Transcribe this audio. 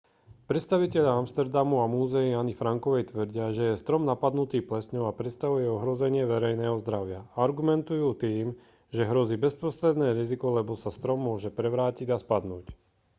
predstavitelia amsterdamu a múzea anny frankovej tvrdia že je strom napadnutý plesňou a predstavuje ohrozenie verejného zdravia argumentujú tým že hrozí bezprostredné riziko lebo sa strom môže prevrátiť a spadnúť